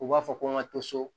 U b'a fɔ ko n ka to so